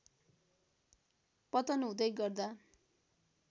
पतन हुँदै गर्दा